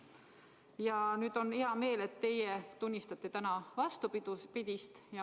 Ja nüüd on hea meel, et teie tunnistate täna vastupidist.